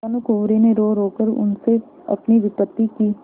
भानुकुँवरि ने रोरो कर उनसे अपनी विपत्ति की